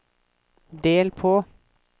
del på